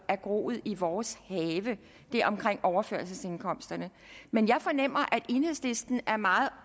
er groet i vores have det omkring overførselsindkomsterne men jeg fornemmer at enhedslisten er meget